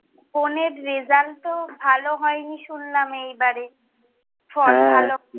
বোনের রেজাল্ট তো ভালো হয়নি শুনলাম, এই বারে, হ্যাঁ।